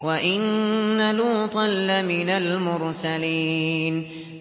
وَإِنَّ لُوطًا لَّمِنَ الْمُرْسَلِينَ